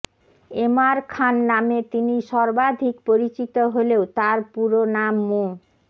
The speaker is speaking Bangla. এম আর খান নামে তিনি সর্বাধিক পরিচিত হলেও তাঁর পুরো নাম মো